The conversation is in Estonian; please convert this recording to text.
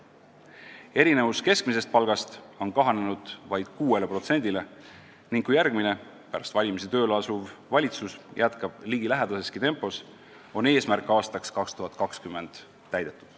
Erinevus keskmisest palgast on kahanenud vaid 6%-ni ning kui järgmine, pärast valimisi tööle asuv valitsus jätkab ligilähedaseski tempos, on eesmärk aastaks 2020 täidetud.